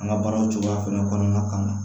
An ka baaraw cogoya fɛnɛ kɔnɔna kan